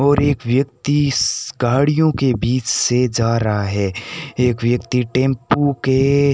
और एक व्यक्ति स गाड़ियों के बीच में से जा रहा है एक व्यक्ति टेम्पो के --